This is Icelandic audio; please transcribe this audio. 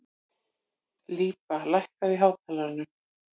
Líba, lækkaðu í hátalaranum.